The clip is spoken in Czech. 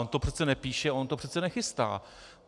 On to přece nepíše, on to přece nechystá.